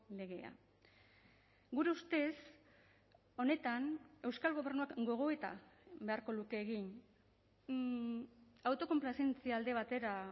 legea gure ustez honetan euskal gobernuak gogoeta beharko luke egin autokonplazentzia alde batera